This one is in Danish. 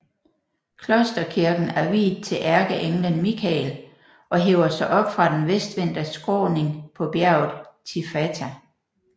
Klosterkirken er viet til ærkeenglen Michael og hæver sig op fra den vestvendte skråning på bjerget Tifata